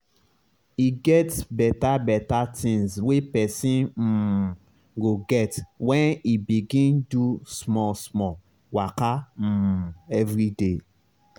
e get beta beta tinz wey pesin um go get when e begin do small small waka um everyday